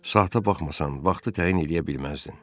Saata baxmasan vaxtı təyin eləyə bilməzdin.